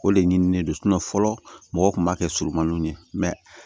O de ɲinini don fɔlɔ mɔgɔw kun b'a kɛ surunmaninw ye